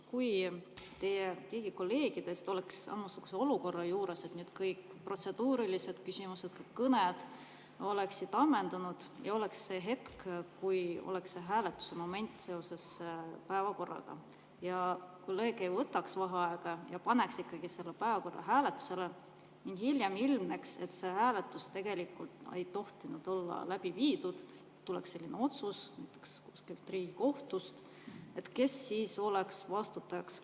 Kui mõni teie kolleegidest oleks samasuguses olukorras, et kõik protseduurilised küsimused ja kõned oleks ammendunud ja oleks see hetk, kui oleks päevakorra hääletuse moment, ja kolleeg ei võtaks vaheaega ja paneks ikkagi selle päevakorra hääletusele ning hiljem ilmneks, et seda hääletust tegelikult poleks tohtinud läbi viia – tuleks selline otsus näiteks Riigikohtust –, kes siis oleks vastutaja?